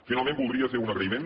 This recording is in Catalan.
finalment voldria fer un agraïment